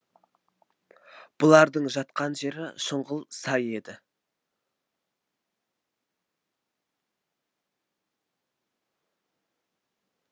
бұлардың жатқан жері шұңғыл сай еді